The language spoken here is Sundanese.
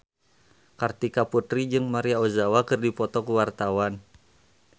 Kartika Putri jeung Maria Ozawa keur dipoto ku wartawan